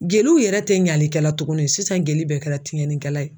Jeliw yɛrɛ tɛ ɲalikɛla tuguni sisan jeli bɛɛ kɛra tiɲɛni kɛla ye.